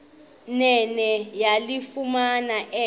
nene yalifumana elo